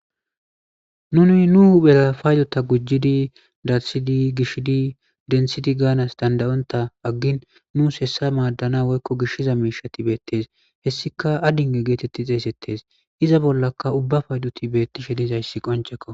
nuni nu huphera paydota gujjidi darsidi gishidi denthidi gaanas dandayonta aggin nuus hessa maaddana woykko gishiza miishati beettes hessika addinge geetetti xeesettes iza bollaka ubbafayduti beettishe dizayssi qoncekko